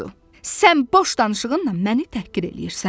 Sən boş danışığınla məni təhqir eləyirsən.